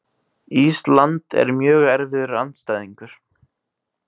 Ísland er mjög erfiður andstæðingur.